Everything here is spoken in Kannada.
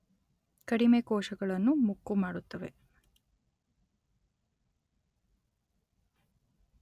ಕಡಿಮೆ ಕೋಶಗಳನ್ನು ಮುಕ್ಕು ಮಾಡುತ್ತವೆ